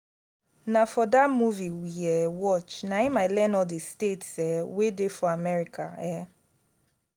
na for dat movie we um watch na im i iearn all the states um wey dey for america um